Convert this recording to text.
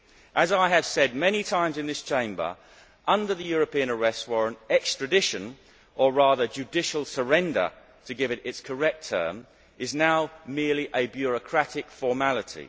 As I have said many times in this Chamber, under the European Arrest Warrant, extradition or rather judicial surrender, to use the correct term is now merely a bureaucratic formality.